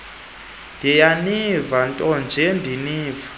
ndiyaniva ntonje ndiniva